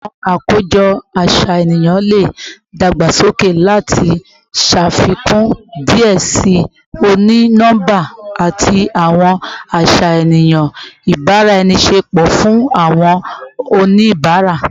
Awọn akojọ aṣayan le dagbasoke lati ṣafikun diẹ sii oni-nọmba ati awọn aṣayan ibaraenisepo fun awọn oniabara